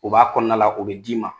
U b'a kɔnɔna la u bɛ d'i ma